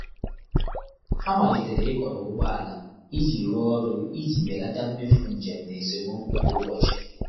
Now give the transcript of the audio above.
Há màlị́tèrè ị́kọ́rọ́ ụ́gbọ́ álà ìjí rụ́ọ́ ọ́rụ́ ìjí bèlàtà mméfù njém nà ésémókwú kwá ụ́bọ̀chị̀.